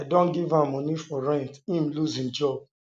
i don give am moni for rent im loose im job